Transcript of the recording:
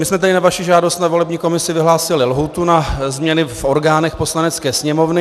My jsme tedy na vaši žádost na volební komisi vyhlásili lhůtu na změny v orgánech Poslanecké sněmovny...